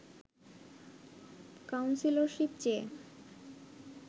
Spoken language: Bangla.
কাউন্সিলরশীপ চেয়ে